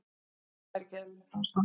Þar er ekki eðlilegt ástand.